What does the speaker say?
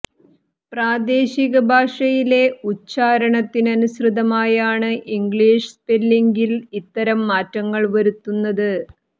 പ്രാദേശിക ഭാഷയിലെ ഉച്ചാരണത്തിനനുസൃതമായാണ് ഇംഗ്ലീഷ് സ്പെല്ലിംഗിൽ ഇത്തരം മാറ്റങ്ങൾ വരുത്തുന്നത്